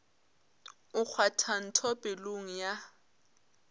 o kgwatha ntho pelong ya